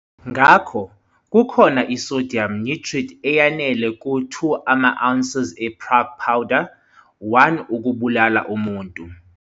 Ngakho, kukhona i-sodium nitrite eyanele ku-2 ama-ounces e-Prague powder, 1 ukubulala umuntu.